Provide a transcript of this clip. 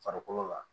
Farikolo la